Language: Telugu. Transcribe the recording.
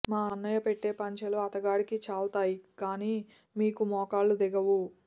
మా అన్నయ్య పెట్టే పంచలు అతగాడికి చాల్తాయి కాని మీకు మోకాళ్లు దిగవు